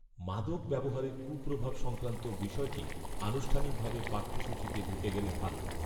মাদক ব্যবহারের কূপ্রভাব সংক্রান্ত বিষয়টি আনুষ্ঠানিকভাবে পাঠ্যসূচিতে ঢুকে গেলে ভাল